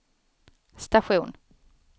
station